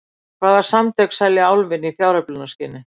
Hvaða samtök selja Álfinn í fjáröflunarskyni?